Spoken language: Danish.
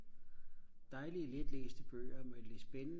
dejlige letlæselige bøger men de er spændende